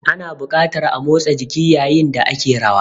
Ana buƙatar a motsa jiki yayin da ake rawa.